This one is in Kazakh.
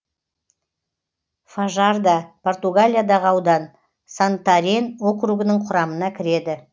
фажарда португалиядағы аудан сантарен округінің құрамына кіреді